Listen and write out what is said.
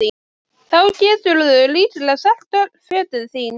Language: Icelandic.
Þá geturðu líklega selt öll fötin þín